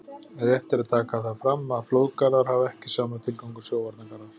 Rétt er að taka það fram að flóðgarðar hafa ekki sama tilgang og sjóvarnargarðar.